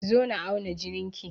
Zo na auna jinin ki!